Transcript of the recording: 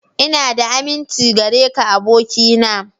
Ina da aminci gare ka abokina.